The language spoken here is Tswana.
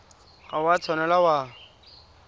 ga o a tshwanela wa